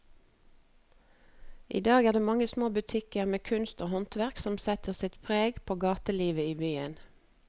I dag er det de mange små butikkene med kunst og håndverk som setter sitt preg på gatelivet i byen.